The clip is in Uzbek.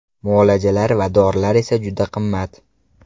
Muolajalar va dorilar esa juda qimmat.